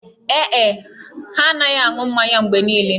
Ee e, ha na-anaghị anụ mmanya mgbe niile